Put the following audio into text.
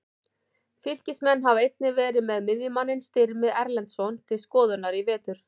Fylkismenn hafa einnig verið með miðjumanninn Styrmi Erlendsson til skoðunar í vetur.